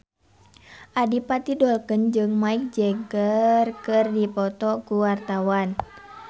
Adipati Dolken jeung Mick Jagger keur dipoto ku wartawan